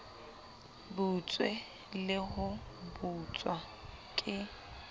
butswe le ho butswa ke